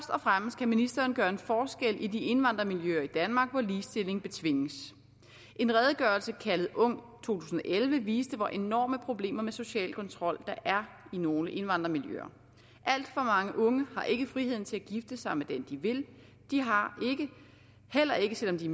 og fremmest kan ministeren gøre en forskel i de indvandrermiljøer i danmark hvor ligestilling betvinges en redegørelse kaldet ung to tusind og elleve viste hvor enorme problemer med social kontrol der er i nogle indvandrermiljøer alt for mange unge har ikke friheden til at gifte sig med den de vil de har heller ikke selv om de